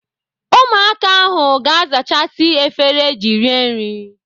Ụmụaka ahụ ga-azachasị efere eji rie nri.